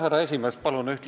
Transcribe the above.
Härra esimees!